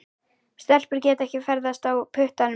Stelpur geta ekki ferðast á puttanum.